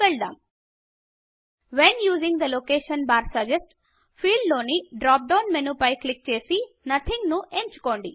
when using the location bar suggest when using the location bar suggest field లోని drop down menu పై click చేసి nothing nothing ను ఎంచుకుందాం